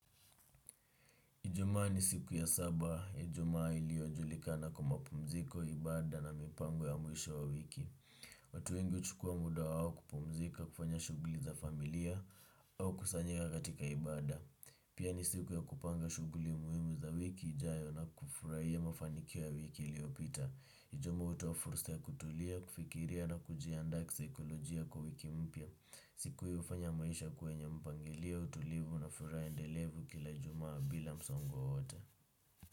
Ijumaa ni siku ya saba. Ijumaa iliyojulikana kwa mapumziko, ibada na mipango ya mwisho wa wiki. Watu wengi huchukua muda wao kupumzika kufanya shughuli za familia au kukusanyika katika ibada. Pia ni siku ya kupanga shughuli muhimu za wiki ijayo na kufurahia mafanikio wiki iliyopita. Ijumaa hutoa fursa ya kutulia, kufikiria na kujiandaa kisaikolojia kwa wiki mpya. Siku hii hufanya maisha kuwa yenye mpangelio utulivu na furaha endelevu kila ijumaa bila msongo wowote.